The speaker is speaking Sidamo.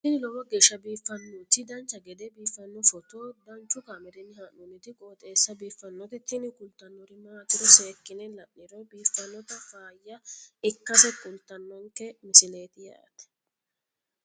tini lowo geeshsha biiffannoti dancha gede biiffanno footo danchu kaameerinni haa'noonniti qooxeessa biiffannoti tini kultannori maatiro seekkine la'niro biiffannota faayya ikkase kultannoke misileeti yaate